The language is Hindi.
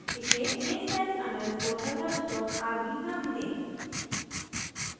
इसे instance_methodsrb नाम दें